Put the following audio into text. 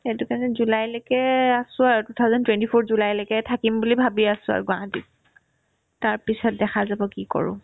সেইটো কাৰণে জুলাইলৈকে আছো আৰু two thousand twenty four ৰ জুলাইলৈকে থাকিম বুলি ভাবি আছো আৰু গুৱাহাটীত তাৰপিছত দেখা যাব কি কৰো